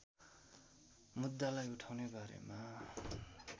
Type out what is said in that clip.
मुद्दालाई उठाउने बारेमा